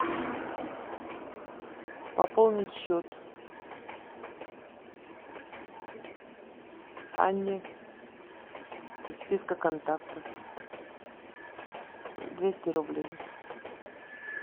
пополнить счет анне из списка контактов двести рублей